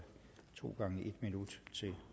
to gange en minut til